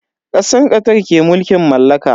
Kasar Qatar ke mulkin mallaka.